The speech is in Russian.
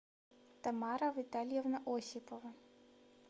тамара витальевна осипова